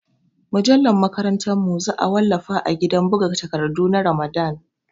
Mujallar makarantar mu za a wallafa a gidan buga takardu na Ramadan